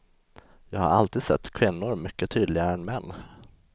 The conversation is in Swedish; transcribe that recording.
Jag har alltid sett kvinnor mycket tydligare än män.